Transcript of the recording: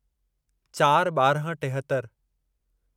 चार ॿारहं टेहतरि